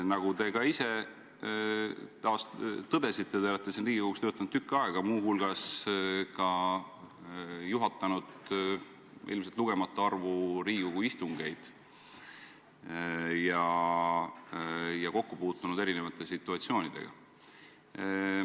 Nagu te ka ise taas tõdesite, te olete siin Riigikogus töötanud tükk aega ja muu hulgas ka juhatanud ilmselt lugematu arvu Riigikogu istungeid ja kokku puutunud erinevate situatsioonidega.